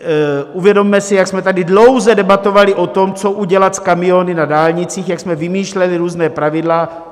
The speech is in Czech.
Uvědomme si, jak jsme tady dlouze debatovali o tom, co udělat s kamiony na dálnicích, jak jsme vymýšleli různá pravidla.